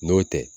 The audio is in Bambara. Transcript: N'o tɛ